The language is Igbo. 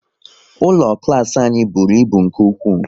Ụlọ klas anyị bụrụ ịbụ nke ụkwụ